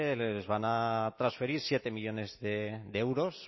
les van a transferir siete millónes de euros